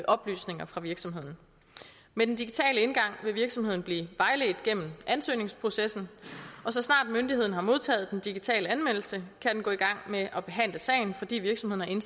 oplysninger fra virksomheden med den digitale indgang vil virksomheden blive vejledt gennem ansøgningsprocessen og så snart myndigheden har modtaget den digitale anmeldelse kan den gå i gang med at behandle sagen fordi virksomheden